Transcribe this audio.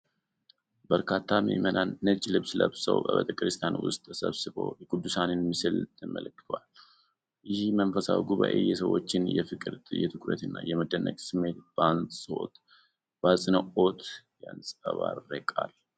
በርካታ ምእመናን ነጭ ልብስ ለብሰው በቤተ ክርስቲያን ውስጥ ተሰብስበው የቅዱሳንን ምስል ተመልክተዋል። ይህ መንፈሳዊ ጉባዔ የሰዎችን የፍቅር፣ የትኩረትና የመደነቅ ስሜት በአጽንዖት ያንጸባርቃል።